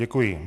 Děkuji.